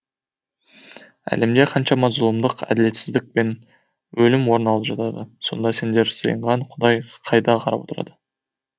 әлемде қаншама зұлымдық әділетсіздік пен өлім орын алып жатады сонда сендер сыйынған құдай қайда қарап отырады